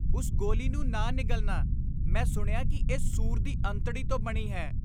ਉਸ ਗੋਲੀ ਨੂੰ ਨਾ ਨਿਗਲਨਾ । ਮੈਂ ਸੁਣਿਆ ਕਿ ਇਹ ਸੂਰ ਦੀ ਅੰਤੜੀ ਤੋਂ ਬਣੀ ਹੈ।